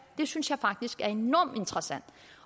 det synes jeg faktisk er enormt interessant